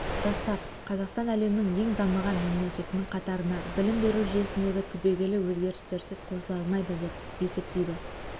жастар қазақстан әлемнің ең дамыған мемлекетінің қатарына білім беру жүйесіндегі түбегейлі өзгерістерсіз қосыла алмайды деп есептейді